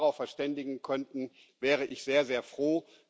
Wenn wir uns darauf verständigen könnten, wäre ich sehr, sehr froh.